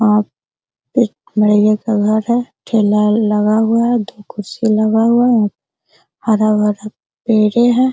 हाँ एक मड़ई का घर है ठेला लगा हुआ है दो कुर्सी लगा हुआ है हरा-भरा पेड़े है।